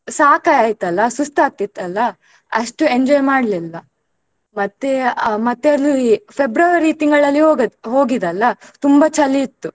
ಸಾಕೈತಲ್ಲ ಸುಸ್ತಾಗ್ತಿತ್ತಲ್ಲ ಅಷ್ಟು enjoy ಮಾಡ್ಲಿಲ್ಲ ಮತ್ತೆ ಆ ಮತ್ತೆ ಅಲ್ಲಿ February ತಿಂಗಳಲ್ಲಿ ಹೋಗಿದಲ್ಲ ತುಂಬಾ ಚಳಿ ಇತ್ತು.